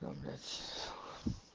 блять